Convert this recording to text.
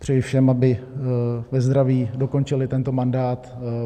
Přeji všem, aby ve zdraví dokončili tento mandát.